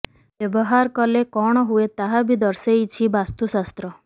ବ୍ୟବହାର କଲେ କଣ ହୁଏ ତାହା ବି ଦର୍ଶେଇଛି ବାସ୍ତୁଶାସ୍ତ୍ର